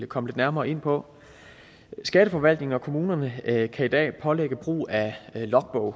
komme lidt nærmere ind på skatteforvaltninger og kommunerne kan i dag pålægge brug af logbog